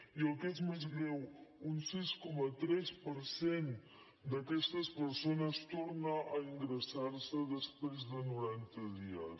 i el que és més greu un sis coma tres per cent d’aquestes persones torna a ingressar se després de noranta dies